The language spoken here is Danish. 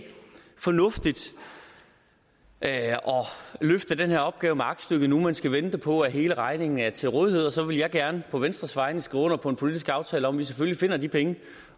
er fornuftigt at løfte den her opgave med aktstykket nu man skal vente på at hele regningen er til rådighed og så vil jeg gerne på venstres vegne skrive under på en politisk aftale om at vi selvfølgelig finder de penge